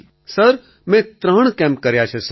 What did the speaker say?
અખિલ sir મેં ત્રણ camp કર્યા છે સર